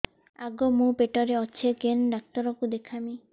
ଆଗୋ ମୁଁ ପେଟରେ ଅଛେ କେନ୍ ଡାକ୍ତର କୁ ଦେଖାମି